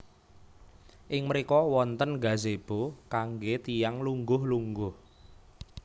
Ing mriko wonten gazebo kangge tiyang lungguh lungguh